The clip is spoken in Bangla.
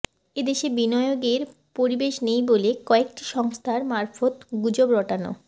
এ দেশে বিনিয়োগের পরিবেশ নেই বলে কয়েকটি সংস্থার মারফত গুজব রটানো